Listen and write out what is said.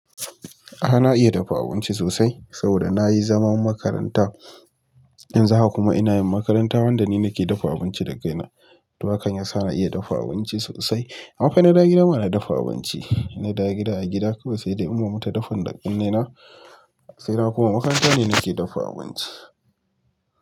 A'a na iya dafa abinci sosai saboda nayi zaman makaranta, yanzu haka kuma ina yin makaranta wanda ni nake dafa abinci da kaina. Toh hakan yasa na iya dafa abinci ama fa ina dawo gida ba na dafa abinci, ina da gida a gida kuma sai dai uwa mata dafan da kunne na, sai haka makaranta ne nake dafa abinci.